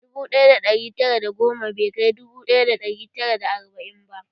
Dubu ɗaya da ɗari tara da goma bai kai dubu ɗaya da ɗari tara da arba'in ba